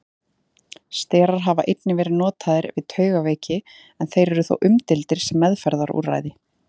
Sterar hafa einnig verið notaðir við taugaveiki en þeir eru þó umdeildir sem meðferðarúrræði.